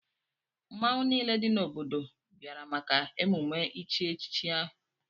Mmọnwụ niile dị n'obodo bịara maka emume ichi echichi ahụ.